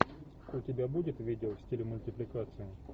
у тебя будет видео в стиле мультипликации